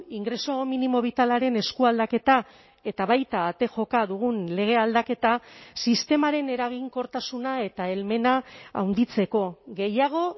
ingreso mínimo vitalaren eskualdaketa eta baita ate joka dugun lege aldaketa sistemaren eraginkortasuna eta helmena handitzeko gehiago